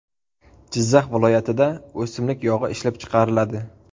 Jizzax viloyatida o‘simlik yog‘i ishlab chiqariladi.